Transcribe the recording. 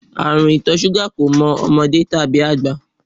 Àrùn ìtọ̀ ṣúgà kò mọ ọmọdé, kò mọ àgbà.